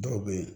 Dɔw bɛ yen